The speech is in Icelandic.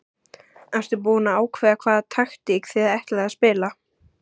Ertu búinn að ákveða hvaða taktík þið ætlið að spila?